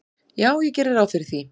"""Já, ég geri ráð fyrir því."""